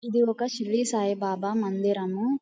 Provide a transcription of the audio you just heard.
ఇది ఒక శిరిడి సాయిబాబా మందిరము.